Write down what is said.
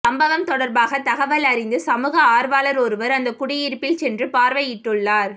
சம்பவம் தொடர்பாக தகவல் அறிந்து சமூக ஆர்வலர் ஒருவர் அந்த குடியிருப்பில் சென்று பார்வையிட்டுள்ளார்